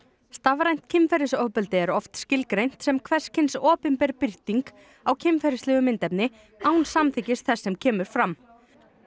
stafrænt kynferðisofbeldi er oft skilgreint sem hvers kyns opinber birting á kynferðislegu myndefni án samþykkis þess sem kemur fram